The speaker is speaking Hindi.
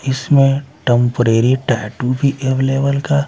इसमें टेंपरेरी टैटू भी अवेलेबल का--